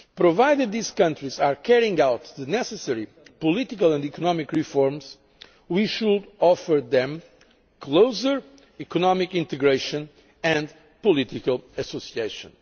Provided these countries are carrying out the necessary political and economic reforms, we should offer them closer economic integration and political association.